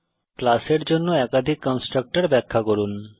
ক্লাসের জন্য একাধিক কন্সট্রাকটর ব্যাখ্যা করুন